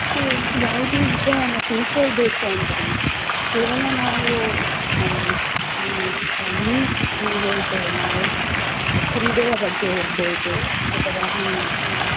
ಮತ್ತೆ ಯಾವುದೇ ವಿಷಯವನ್ನ ತಿಳ್ಕೊಳ್ಬೇಕು ಅಂದ್ರೂನು ಕೇವಲ ನಾವು ಅಹ್ ಈ news ಏನ್ ಹೇಳ್ತೇವೆ ನಾವು ಕ್ರೀಡೆಯ ಬಗ್ಗೆ ಇರ್ಬೋದು ಅಥವಾ ಈ